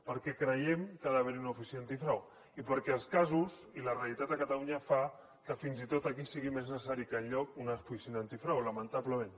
perquè creiem que ha d’haver hi una oficina antifrau i perquè els casos i la realitat a catalunya fa que fins i tot aquí sigui més necessari que enlloc una oficina antifrau lamentablement